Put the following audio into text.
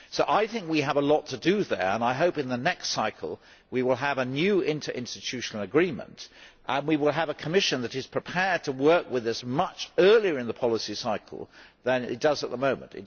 I think we have a lot to do there and I hope in the next cycle we will have a new interinstitutional agreement and we will have a Commission that is prepared to work with us much earlier on in the policy cycle than it does at the moment.